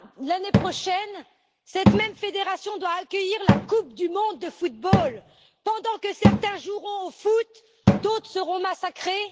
L'année prochaine, cette même fédération doit accueillir la Coupe du monde de football. Pendant que certains joueront au foot, d'autres seront massacrés.